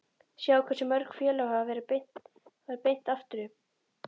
Sjáið hversu mörg félög hafa farið beint aftur upp?